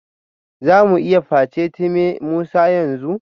Za mu iya facetime Musa yanzu?